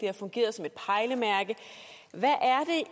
har fungeret som et pejlemærke hvad